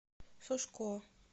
сушко